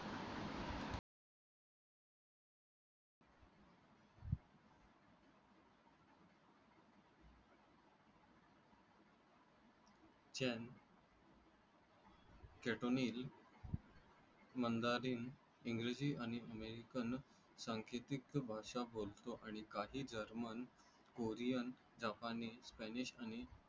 चान केटोनील, मंडारीन, इंग्रजी आणि अमेरिकन सांकेतिक भाषा बोलतो आणि काही जर्मन, कोरियन, जपानी, स्पॅनिश आणि